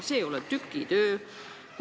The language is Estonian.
Tegu ei ole tükitööga.